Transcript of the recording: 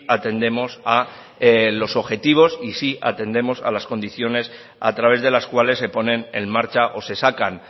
atendemos a los objetivos y si atendemos a las condiciones a través de las cuales se ponen en marcha o se sacan